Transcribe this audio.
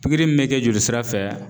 Pikiri me kɛ joli sira fɛ